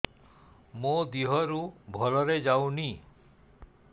ମୋ ଦିହରୁ ଭଲରେ ଯାଉନି